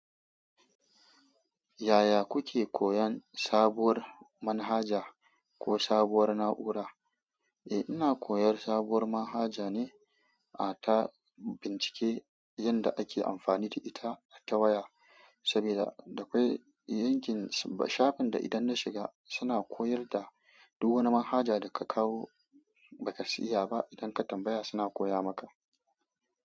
Yaya kuke koyon sabuwar manhaja ko sabuwar na'ura? Eh, ina koyar sabuwar manhaja ne, a ta bincike yanda ake amfani da ita ta waya. Saboda dakwai yankin shafin da idan na shiga suna koyar da duk wani manhaja da ka kawo ba ka iya ba. Idan ka tambaya suna koya maka.